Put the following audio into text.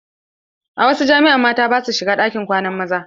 A wasu jami'a mata ba sua shiga ɗakin kwanan maza.